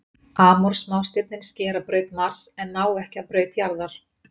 Amor smástirnin skera braut Mars en ná ekki að braut jarðar.